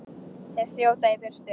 Þeir þjóta í burtu.